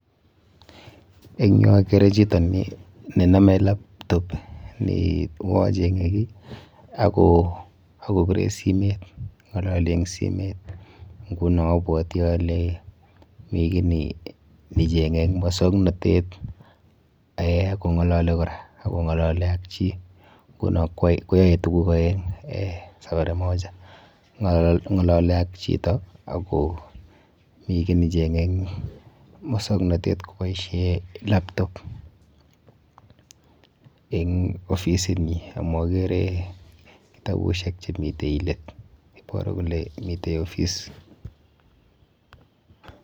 Eng yu akere chito ninome laptop ne uyo cheng'e kiy ako pirei simet, ng'alali eng simet. Nguno abwoti ale mi kiy necheng'e eng mosoknotet eh akong'alali kora, ako ng'alali ak chi. Nguno koyae tuguk aeng eh safari moja ng'alali ak chito akomi kiy necheng'e eng mosoknotet koboishe laptop eng ofisinyi amu akere kitabushek chemite let. Iboru kole mi ofice.